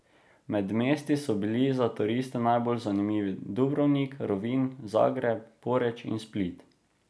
Med mesti so bili za turiste najbolj zanimivi Dubrovnik, Rovinj, Zagreb, Poreč in Split.